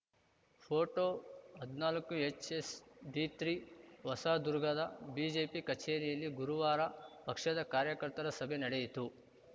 photo ಹದ್ನಾಲ್ಕುಎಚ್‌ಎಸ್‌ಡಿತ್ರೀ ಹೊಸದುರ್ಗದ BJP ಕಚೇರಿಯಲ್ಲಿ ಗುರುವಾರ ಪಕ್ಷದ ಕಾರ್ಯಕರ್ತರ ಸಭೆ ನಡೆಯಿತು